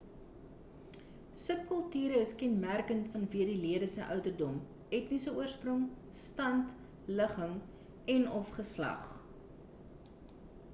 subkulture is kenmerkend vanweë die lede se ouderdom etniese oorsprong stand ligging en/of geslag